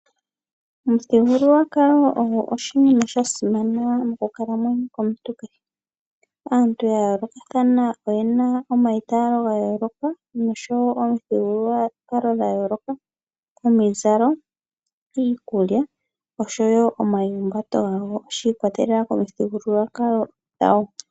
Omuthigululwakalo ogo oshinima sha simana moku kalamwenyo komuntu kehe. Aantu ya yoolokathana oyena omayitalo ga yooloka nomuthigululwakalo gwayooloka omizalo, iikulwa noyi humbatu gwo shi ikwatelela komithigululwakalo gwawo.